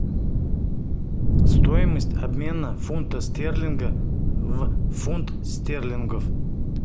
стоимость обмена фунта стерлинга в фунт стерлингов